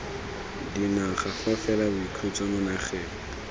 dinaga fa fela boikhutso magareng